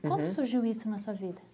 Uhum. Como surgiu isso na sua vida?